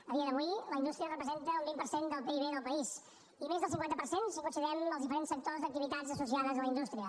a dia d’avui la indústria representa un vint per cent del pib del país i més del cinquanta per cent si considerem els diferents sectors d’activitats associades a la indústria